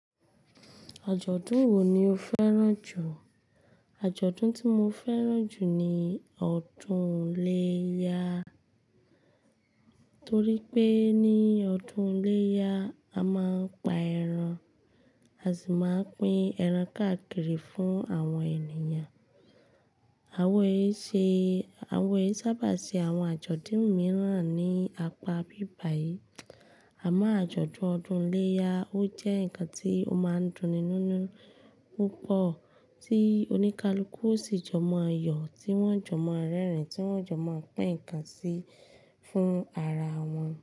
Àjọ̀dún wo ni o fẹ́ràn jù? Àjọ̀dún tí mo fẹ́ràn jù ni ọdún iléyá. Torí pé ní ọdún iléyá, a máa ń pa ẹran, a sì máa pín ẹran káàkiri fún àwọn ènìyàn. Àwa èṣe, àwa è sábà ṣe àwọn àjọ̀dún mìíràn ní apá bíbàyí. Àmọ́ àjọ̀dún ọdún iléyá ó jẹ́ ǹkan tí ó máa ń dunni nínu púpọ̀, tí oníkálukú ó sì jọmọ̀ yọ, tí wọ́n jọmọ̀ rẹ́rìn-ín, tí wọ́n jọmọ̀ pín ǹkan sí fún ara wọn.